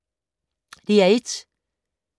DR1